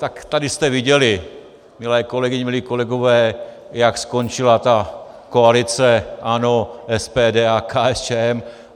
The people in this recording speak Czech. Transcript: Tak tady jste viděli, milé kolegyně, milí kolegové, jak skončila ta koalice ANO, SPD a KSČM.